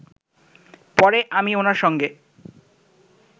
পরে আমি ওনার সঙ্গে